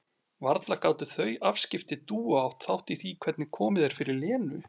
Varla gátu þau afskipti Dúu átt þátt í því hvernig komið er fyrir Lenu?